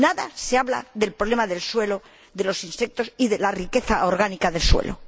Nada se habla del problema del suelo, de los insectos y de la riqueza orgánica del suelo.